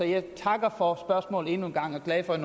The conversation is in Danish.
jeg takker for spørgsmålet endnu en gang og er glad for at